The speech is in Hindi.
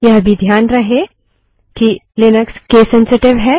यह भी ध्यान रहे कि लिनक्स केस सेंसिटिव है